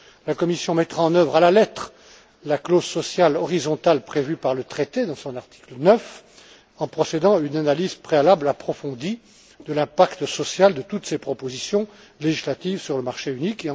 La Commission mettra en œuvre à la lettre la clause sociale horizontale prévue par le traité à son article 9 en procédant à une analyse préalable approfondie de l'impact social de toutes ces propositions législatives sur le marché unique.